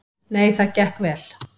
Nei, það gekk vel.